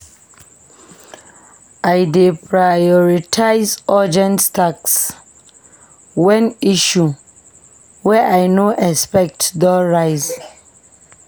I dey prioritize urgent tasks wen issue wey I no expect don rise.